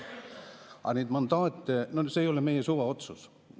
Aga need mandaadid – no see ei ole meie suvaotsus.